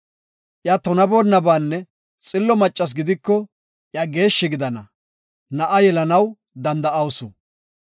Iya tunaboonabanne xillo maccas gidiko, iya geeshshi gidana; na7a yelanaw danda7awusu.